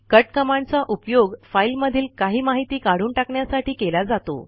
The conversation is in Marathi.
कट कमांडचा उपयोग फाईल मधील काही माहिती काढून टाकण्यासाठी केला जातो